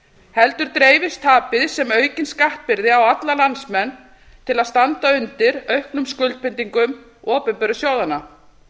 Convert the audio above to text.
heldur dreifist tapið sem aukin skattbyrði á alla landsmenn til að standa undir auknum skuldbindingum opinberu sjóðanna